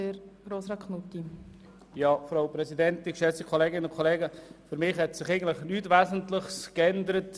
Für mich hat sich am Antrag von Grossrat Wüthrich nichts Wesentliches geändert.